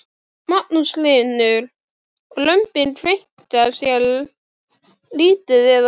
Magnús Hlynur: Og lömbin kveinka sér lítið eða hvað?